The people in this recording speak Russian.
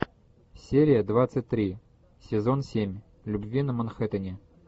серия двадцать три сезон семь любви на манхэттене